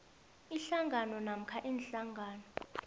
ihlangano namkha iinhlangano